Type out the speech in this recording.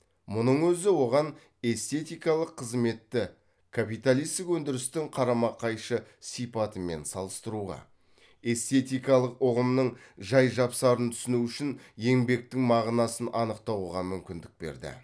мұның өзі оған эстетикалық қызметті капиталистік өндірістің қарама қайшы сипатымен салыстыруға эстетикалық ұғымның жай жапсарын түсіну үшін еңбектің мағынасын анықтауға мүмкіндік берді